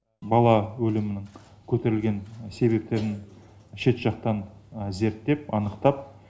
бала өлімнің көтерілген себептерін шет жақтан зерттеп анықтап